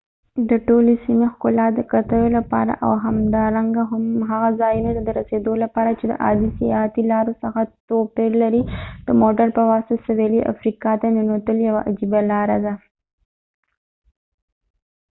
د ټولې سیمې ښکلا د کتلو لپاره او همدارنګه هغه ځايونو ته د رسيدو لپاره چې د عادي سیاحتي لارو څخه توپير لري د موټر په واسطه سویلي افریقا ته ننوتل یوه عجیب لاره ده